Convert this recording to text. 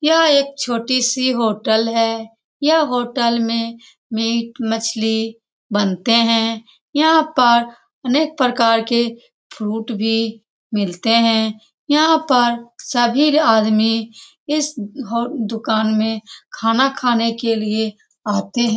यह एक छोटी सी होटल है यह होटल में मिट - मछली बनते हैं यहाँ पर अनेक प्रकार के फ्रूट भी मिलते हैं यहाँ पर सभी आदमी इस अ ह दुकान में खाना खाने के लिए आते हैं ।